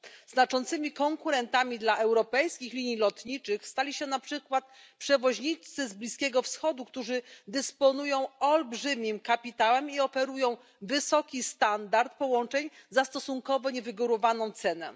Znaczącymi konkurentami dla europejskich linii lotniczych stali się na przykład przewoźnicy z Bliskiego Wschodu, którzy dysponują olbrzymim kapitałem i oferują wysoki standard połączeń za stosunkowo niewygórowaną cenę.